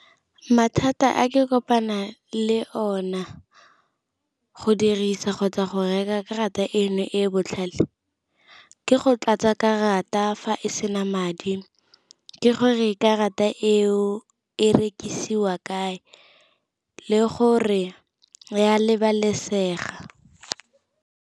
Mathata a ke kopana le ona go dirisa kgotsa go reka karata eno e e botlhale, ke go tlatsa karata fa e e sena madi, ke gore karata eo e rekisiwa kae le gore ya lebalesega.